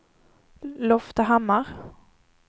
Loftahammar